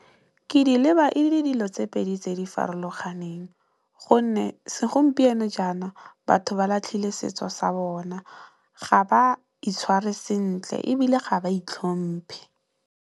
Ke di leba e le dilo tse pedi tse di farologaneng gonne, segompieno jaana batho ba latlhile setso sa bona ga ba itshware sentle ebile ga ba itlhompi.